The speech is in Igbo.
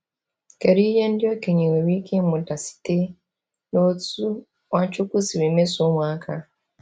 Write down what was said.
Kedu ihe ndị okenye nwere ike ịmụta site n’otú Nwachukwu siri mesoo ụmụaka?